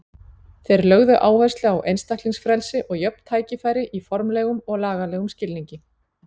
Þeir lögðu áherslu á einstaklingsfrelsi og jöfn tækifæri í formlegum og lagalegum skilningi.